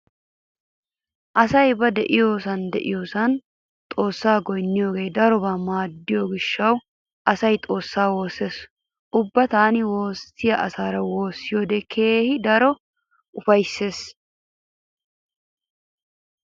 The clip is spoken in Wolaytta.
Asay ba diyosan diyosan xoossaa goynniyogee darobawu maaddiyo gishshawu asay xoossaa wossees. Ubba tana woossiya asaara woossiyode keehi daro ufayssees.